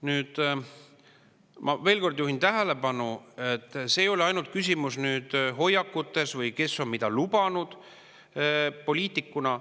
Ma juhin veel kord tähelepanu, et küsimus ei ole ainult hoiakutes või selles, kes on mida lubanud poliitikuna.